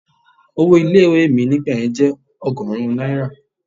Owó ilé ìwé mi nígbà yẹn jẹ́ ọgọ́rùn-ún náírà.